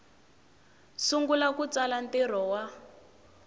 sungula ku tsala ntirho wa